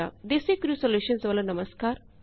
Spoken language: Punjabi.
ਡੈਜ਼ੀਕ੍ਰਿਊ ਸੋਲੂਸ਼ਨਜ਼ ਵੱਲੋ ਨਮਸਕਾਰ